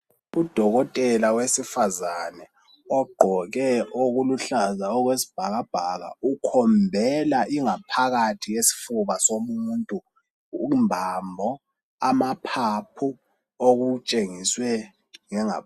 uDokotela wesifazane ogqoke okuluhlaza okwesibhakabhaka ukhombela ingaphakathi yesifuba somuntu umbambo, amaphaphu okutshengiswe ngengaphandle.